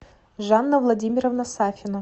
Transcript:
жанна владимировна сафина